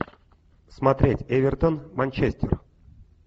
смотреть эвертон манчестер